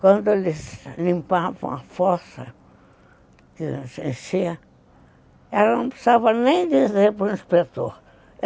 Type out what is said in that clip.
Quando eles limpavam a fossa, que era sem ser, ela não precisava nem dizer para o inspetor.